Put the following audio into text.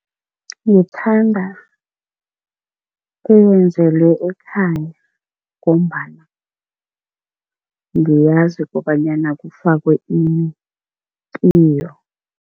Ngithanda eyenzelwe ekhaya ngombana ngiyazi kobanyana kufakwe ini kiyo.